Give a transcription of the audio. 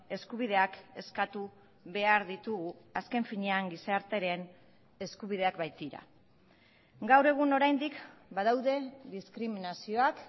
eskubideak eskatu behar ditugu azken finean gizartearen eskubideak baitira gaur egun oraindik badaude diskriminazioak